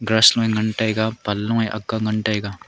gras ngan tai ga panlo ank ngan tai ga.